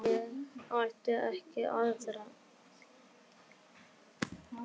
Ég átti ekki aðra.